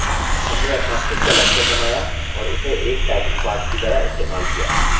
हमने अपना खुद का lecture बनाया और उसे एक typing पाठ की तरह इस्तेमाल किया